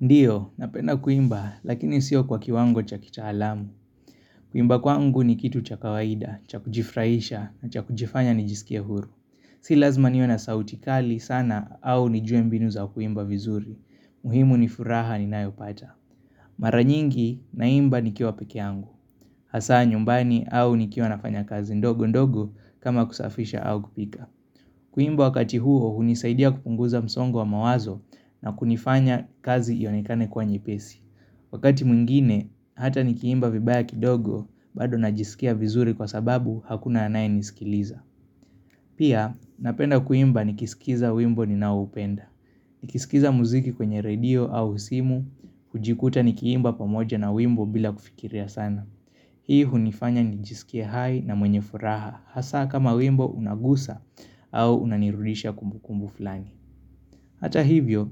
Ndio, napenda kuimba, lakini sio kwa kiwango cha kita alamu. Kuimba kwangu ni kitu cha kawaida, cha kujifraisha, na cha kujifanya ni jisikie huru. Si lazima niwe na sautikali sana au nijue mbinu za kuimba vizuri. Muhimu ni furaha ni nayo pata. Maranyingi, naimba ni kiwa peke yangu. Hasa nyumbani au ni kiwa nafanya kazi ndogo ndogo kama kusafisha au kupika. Kuimba wakati huo hunisaidia kupunguza msongo wa mawazo na kunifanya kazi ionekane kuwa nyepesi. Wakati mwingine, hata nikiimba vibaya kidogo, bado najisikia vizuri kwa sababu hakuna anaye nisikiliza. Pia, napenda kuimba nikisikiza wimbo ni naoupenda. Nikisikiza muziki kwenye radio au simu, hujikuta nikiimba pamoja na wimbo bila kufikiria sana. Hii hunifanya ni jisikie hai na mwenye furaha Hasa kama wimbo unagusa au unanirudisha kumbukumbu fulani Hata hivyo,